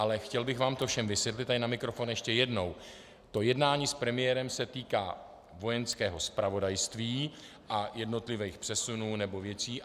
Ale chtěl bych vám to všem vysvětlit tady na mikrofon ještě jednou: To jednání s premiérem se týká Vojenského zpravodajství a jednotlivých přesunů nebo věcí.